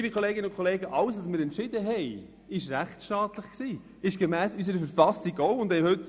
Doch jeder unserer Entscheide war rechtsstaatlich und ist gemäss unserer Verfassung auch korrekt.